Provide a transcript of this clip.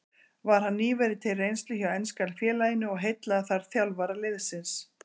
Var hann nýverið til reynslu hjá enska félaginu og heillaði þar þjálfara liðsins.